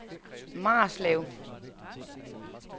Marslev